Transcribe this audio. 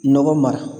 Nɔgɔ mara